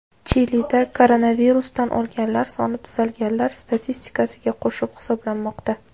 Chilida koronavirusdan o‘lganlar soni tuzalganlar statistikasiga qo‘shib hisoblanmoqda.